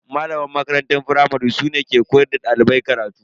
Malaman makaranta firamare su ne ke koyar da dalibai karatu.